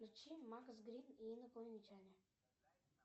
включи макс грин и инопланетяне